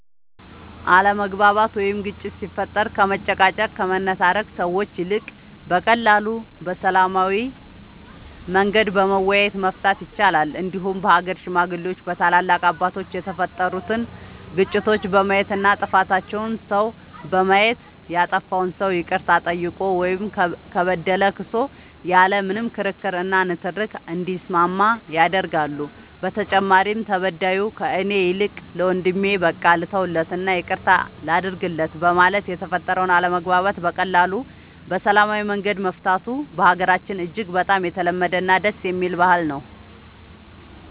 አለመግባባት ወይም ግጭት ሲፈጠር ከመጨቃጨቅ ከመነታረክ ሰዎች ይልቅ በቀላሉ በሰላማዊ መንገድ በመወያየት መፍታት ይቻላል እንዲሁም በሀገር ሽማግሌዎች በታላላቅ አባቶች የተፈጠሩትን ግጭቶች በማየት እና ጥፋተኛውን ሰው በማየት ያጠፋው ሰው ይቅርታ ጠይቆ ወይም ከበደለ ክሶ ያለ ምንም ክርክር እና ንትርክ እንዲስማማ ያደርጋሉ በተጨማሪም ተበዳዩ ከእኔ ይልቅ ለወንድሜ በቃ ልተውለት እና ይቅርታ ላድርግለት በማለት የተፈጠረውን አለመግባባት በቀላሉ በሰላማዊ መንገድ መፍታቱ በሀገራችን እጅግ በጣም የተለመደ እና ደስ የሚል ባህል ነው።